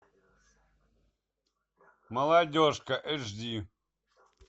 молодежка эйч ди